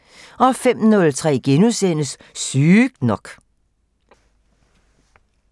05:03: Sygt nok *